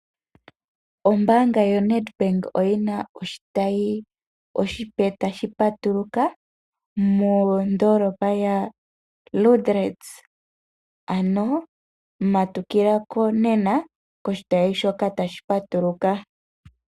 Ombaanga ya Nedbank oyina oshitayi oshipe tashi patuluka mondoolopa ya Liindili, ano matukila ko nena koshitayi shoka tashi patuluka.